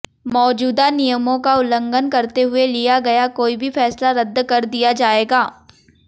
मौजूदा नियमों का उल्लंघन करते हुए लिया गया कोई भी फैसला रद्द कर दिया जाएगा